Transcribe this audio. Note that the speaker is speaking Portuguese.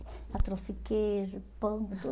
aí trouxe queijo, pão, tudo.